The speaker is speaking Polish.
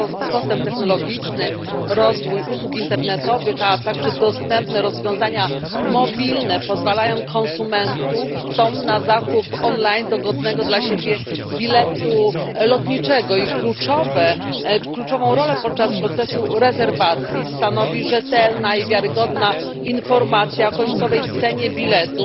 Postęp technologiczny, rozwój usług internetowych, a także dostępne rozwiązania mobilne pozwalają konsumentom na zakup online dogodnego dla siebie biletu lotniczego, a kluczową rolę podczas procesu rezerwacji stanowi rzetelna i wiarygodna informacja o końcowej cenie biletu,